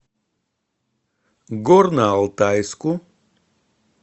горно алтайску